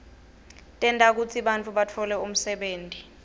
tenta kutsi bantfu batfole umsebenti